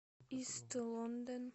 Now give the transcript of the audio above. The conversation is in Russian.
ист лондон